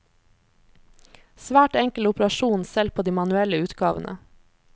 Svært enkel operasjon selv på de manuelle utgavene.